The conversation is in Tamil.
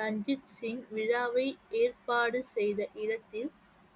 ரஞ்சித் சிங் விழாவை ஏற்பாடு செய்த இடத்தில்